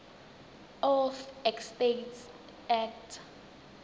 of estates act